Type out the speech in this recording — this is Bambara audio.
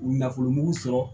U nafolomugu sɔrɔ